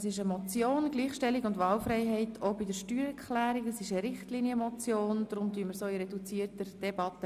Da es sich um eine Richtlinienmotion handelt, beraten wir sie in reduzierter Debatte.